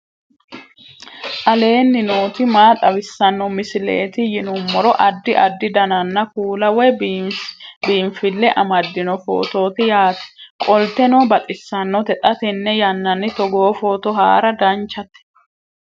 aleenni nooti maa xawisanno misileeti yinummoro addi addi dananna kuula woy biinfille amaddino footooti yaate qoltenno baxissannote xa tenne yannanni togoo footo haara danchate